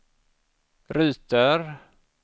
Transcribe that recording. ruter